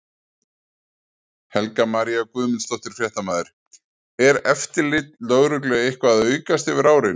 Helga María Guðmundsdóttir, fréttamaður: Er eftirlit lögreglu eitthvað að aukast yfir árin?